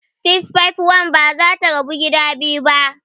651 ba za ta rabu gida biyu ba.